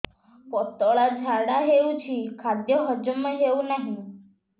ପତଳା ଝାଡା ହେଉଛି ଖାଦ୍ୟ ହଜମ ହେଉନାହିଁ